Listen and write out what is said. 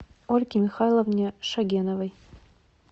ольге михайловне шогеновой